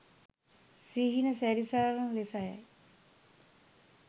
සිහින සැරිසර ලෙස යි.